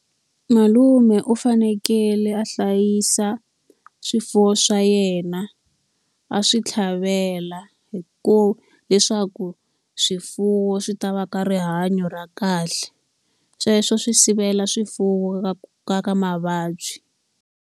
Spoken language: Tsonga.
Malume u fanekele a hlayisa swifuwo swa yena, a swi tlhavela, leswaku swifuwo swi ta va ka rihanyo ra kahle. Sweswo swi sivela swifuwo ka ka ka mavabyi.